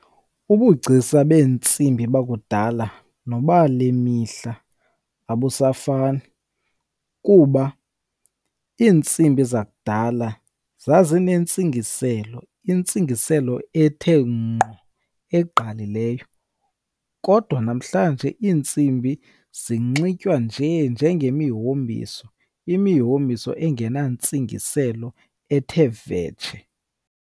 Ubugcisa beentsimbi bakudala nobale mihla abusafani kuba iintsimbi zakudala zazinentsingiselo, intsingiselo ethe ngqo eqqalileyo. Kodwa namhlanje iintsimbi zinxiba tyiwa nje njengemihombiso, imihombiso engenantsingiselo ethe vetshe.